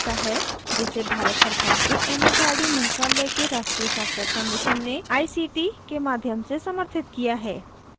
जिसे भारत सरकार के एमएचआरडी मंत्रालय के राष्ट्रीय साक्षरता mission ने आई सी टी ict के माध्यम से समर्थित किया है